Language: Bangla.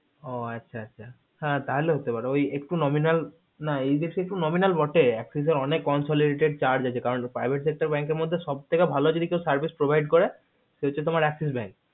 ও আচ্ছা আচ্ছা তা হলে হতে পারে ওই একটু nominal না এই দেশে একটু nominal বাটে axis এর অনেক consolidated charges আছে কারণ private sector bank এর মধ্যে সবথেকে ভালো যদি কেও service provide করে সে হচ্ছে তোমার axis bank